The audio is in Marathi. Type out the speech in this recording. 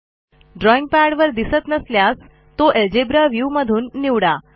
ड्रॉईंग पॅडवर दिसत नसल्यास तो अल्जेब्रा व्ह्यू मधून निवडा